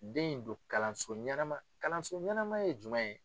Den in don kalanso ɲɛnama kalanso ɲɛnama ye jumɛn ye?